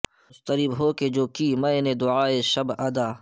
مضطرب ہو کے جو کی میں نے دعائے شب ادا